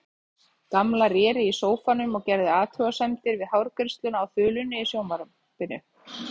Gamla réri í sófanum og gerði athugasemdir við hárgreiðsluna á þulunni í sjónvarpinu.